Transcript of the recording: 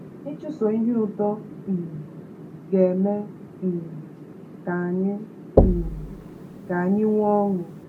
Ịchụso Ihe Uto um Ga-eme um Ka Anyị um Ka Anyị Nwee Ọṅụ?